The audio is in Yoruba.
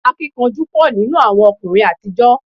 Akíkanjú pọ̀ nínú àwọn ọkùnrin àtijọ́